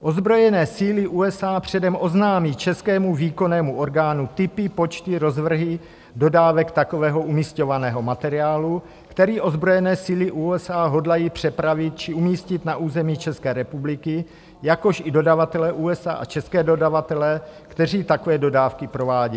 Ozbrojené síly USA předem oznámí českému výkonnému orgánu typy, počty, rozvrhy dodávek takového umisťovaného materiálu, který ozbrojené síly USA hodlají přepravit či umístit na území České republiky, jakož i dodavatele USA a české dodavatele, kteří takové dodávky provádějí.